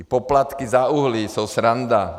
Ty poplatky za uhlí jsou sranda.